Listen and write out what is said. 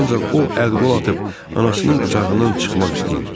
Ancaq o əl-qol atıb anasının qucağından çıxmaq istəyir.